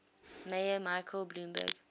mayor michael bloomberg